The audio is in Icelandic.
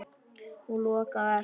Hún lokaði á eftir sér.